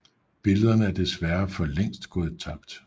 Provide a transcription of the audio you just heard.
Billederne er desværre for længst gået tabt